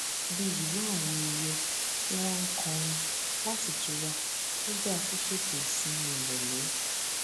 bí i ìró àwọn ẹyẹ tí wón ń kọrin láti tura nígbà ṣíṣètò ìsinmi ìròlé